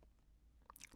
DR K